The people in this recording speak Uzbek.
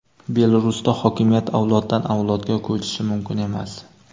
Belarusda hokimiyat avloddan avlodga ko‘chishi mumkin emas.